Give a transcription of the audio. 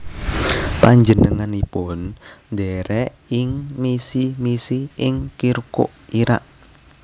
Panjenenganipun ndherek ing misi misi ing Kirkuk Irak